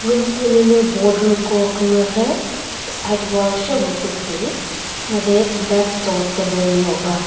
room ulülü border ko kümüre side wall sheo kütü made left cho table neo ba.